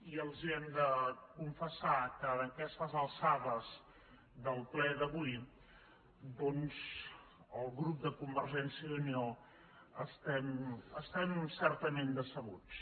i els hem de confessar que a aquestes alçades del ple d’avui el grup de convergència i unió estem certament decebuts